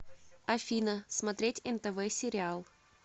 афина смотреть нтв сериал